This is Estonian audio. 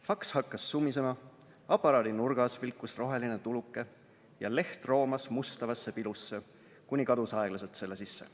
Faks hakkas sumisema, aparaadi nurgas vilkus roheline tuluke ja leht roomas mustavasse pilusse, kuni kadus aeglaselt selle sisse.